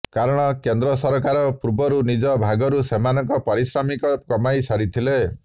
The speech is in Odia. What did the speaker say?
କାରଣ କେନ୍ଦ୍ର ସରକାର ପୂର୍ବରୁ ନିଜ ଭାଗରୁ ସେମାନଙ୍କ ପାରିଶ୍ରମିକ କମାଇ ସାରିଥିଲେ